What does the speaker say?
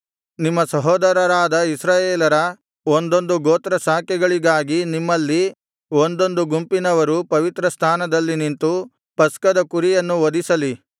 ನಿಮ್ಮ ಸಹೋದರರಾದ ಇಸ್ರಾಯೇಲರ ಒಂದೊಂದು ಗೋತ್ರಶಾಖೆಗಳಿಗಾಗಿ ನಿಮ್ಮಲ್ಲಿ ಒಂದೊಂದು ಗುಂಪಿನವರು ಪವಿತ್ರಸ್ಥಾನದಲ್ಲಿ ನಿಂತು ಪಸ್ಕದ ಕುರಿಯನ್ನು ವಧಿಸಲಿ